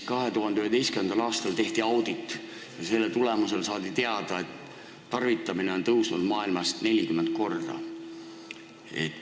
2011. aastal tehti audit, mille tulemusel saadi teada, et nende tarvitamine on maailmas 40 korda tõusnud.